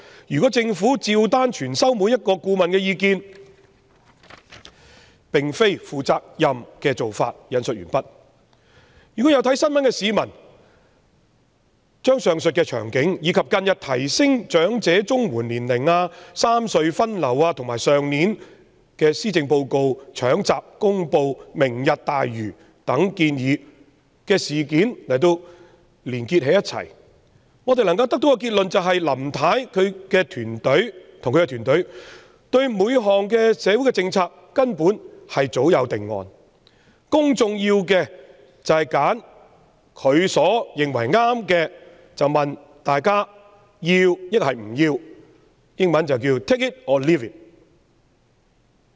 如果政府對每個顧問的意見照單全收，並非負責任的做法。"有留意新聞的市民如將上述場景、近日提高申領長者綜合社會保障援助的年齡、三隧分流，以及去年施政報告"搶閘"公布"明日大嶼"等建議的事件串連起來，能夠得出的結論是林太與其團隊對各項社會政策根本早有定案，公眾要做的只是就她認為正確的選項選擇"要或不要"，英文即 "take it or leave it"。